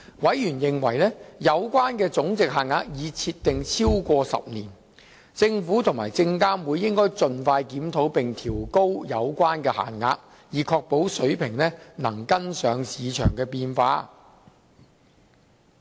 委員認為有關總值限額已設定超過10年，政府及證監會應盡快檢討並調高有關限額，以確保水平能跟上市場變化。